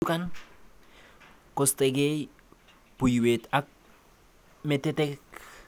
Chuchukan kostokei buiwet ak metetek.